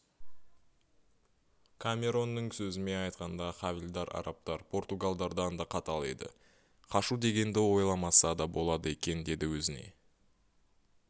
камеронның сөзімен айтқанда хавильдар-арабтар португалдардан да қатал еді қашу дегенді ойламаса да болады екен деді өзіне